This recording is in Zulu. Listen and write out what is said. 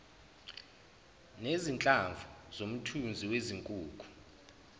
nezinhlamvu zomthunzi wezinkukhu